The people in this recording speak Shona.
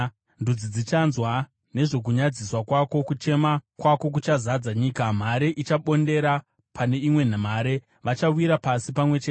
Ndudzi dzichanzwa nezvokunyadziswa kwako; kuchema kwako kuchazadza nyika. Mhare ichabondera pane imwe mhare; vachawira pasi pamwe chete.”